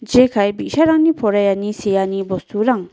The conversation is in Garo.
jekai bi·sarangni poraiani seani bosturang.